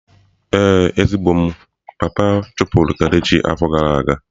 Ee, ezigbo m, papa chụpụrụ kelechi afo gara aga.